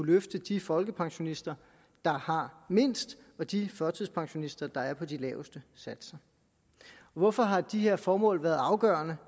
løfte de folkepensionister der har mindst og de førtidspensionister der er på de laveste satser hvorfor har de her formål været afgørende